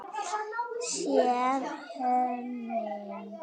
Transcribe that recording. SÉR HORNIN.